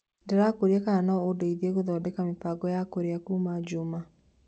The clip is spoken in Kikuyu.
Ndĩrakũũrĩa kana no ũndeĩthĩe gũthondeka mĩbango ya kũrĩa kũma jumia